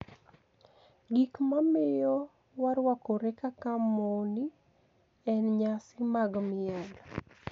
Gik mamiyo warwakore kaka moni e niyasi mag miel